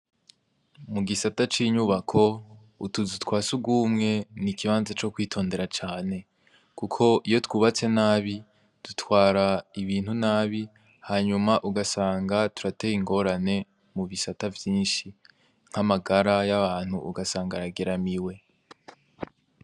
Mu gisata c'inyubako, utuzu twa sugumwe ni ikibanza co kwitondera cane kuko iyo twubatse nabi, dutwara ibintu nabi hanyuma ugasanga turateye ingorane mu bisata vyinshi. Nk’ amagara y'abantu ugasanga arageramiwe.